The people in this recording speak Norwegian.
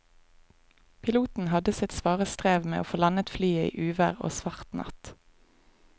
Piloten hadde sitt svare strev med å få landet flyet i uvær og svart natt.